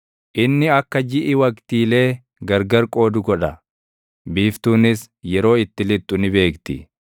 Inni akka jiʼi waqtiilee gargar qoodu godha; biiftuunis yeroo itti lixxu ni beekti.